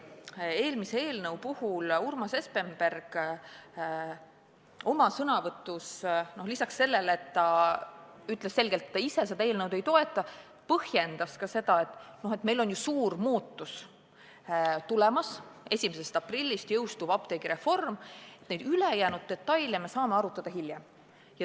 Eelmise eelnõu puhul Urmas Espenberg oma sõnavõtus lisaks sellele, et ta ütles selgelt, et ta seda eelnõu ei toeta, põhjendas ka, et meil on ju suur muutus tulemas: 1. aprillist jõustub apteegireform ja neid detaile me saame arutada hiljem.